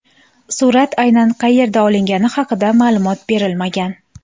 Surat aynan qayerda olingani haqida ma’lumot berilmagan.